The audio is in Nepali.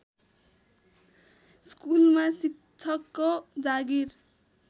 स्कुलमा शिक्षकको जागिर